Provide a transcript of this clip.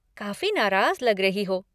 काफ़ी नाराज़ लग रही हो।